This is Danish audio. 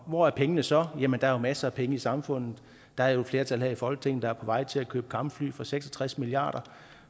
hvor er pengene så jamen der er jo masser af penge i samfundet der er jo et flertal her i folketinget der er på vej til at købe kampfly for seks og tres milliard